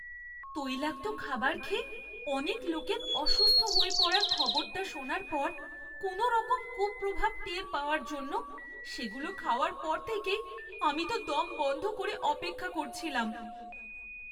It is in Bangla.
তৈলাক্ত খাবার খেয়ে অনেক লোকের অসুস্থ হয়ে পড়ার খবরটা শোনার পর কোনওরকম কুপ্রভাব টের পাওয়ার জন্য সেগুলো খাওয়ার পর থেকেই আমি তো দম বন্ধ করে অপেক্ষা করছিলাম।